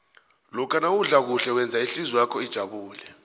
lokha nawudla kuhle wenza ihlizwakho ijabule